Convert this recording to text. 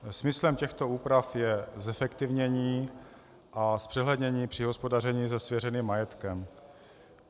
Smyslem těchto úprav je zefektivnění a zpřehlednění při hospodaření se svěřeným majetkem.